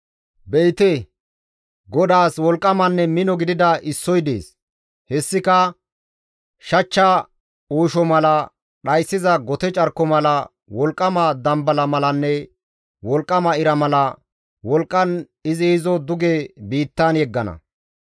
Be7ite, Godaas wolqqamanne mino gidida issoy dees; hessika shachcha uusho mala, dhayssiza gote carko mala, wolqqama dambala malanne wolqqama ira mala wolqqan izi izo duge biittan yeggana.